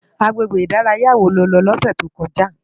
Agbégbé idàráyá wó ló lò lòsè tókòjá?